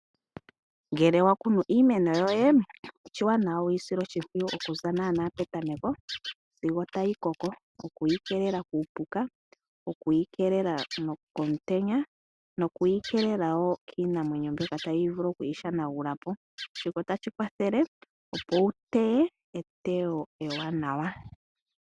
Ngele wakunu iimeno yoye oshiwanawa wuyisile oshimpwiyu okuza naana petameko sigo tayi koko. Okuyikeelela kuupuka, okuyikeelela komutenya nokuyi keelela woo kiinamwenyo mbyoka tayi vulu okuyishanagulapo shika otashi kwathele opo wuteye eteyo ewanawa.